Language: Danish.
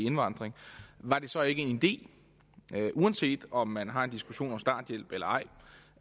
indvandring var det så ikke en idé uanset om man har en diskussion om starthjælp eller ej